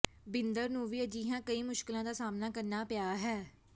ਬਿੰਦਰ ਨੂੰ ਵੀ ਅਜਿਹੀਆਂ ਕਈ ਮੁਸ਼ਕਿਲਾਂ ਦਾ ਸਾਹਮਣਾ ਕਰਨਾ ਪਿਆ ਹੈ